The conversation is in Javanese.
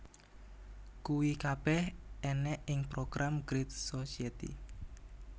Kuwi kabeh ènèk ing program Great Society